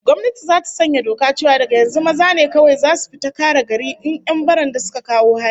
Gwamnati zata sanya doka cewa daga yanzu maza ne kawai zasu fita kare garin in 'yan baranda suka kawo hari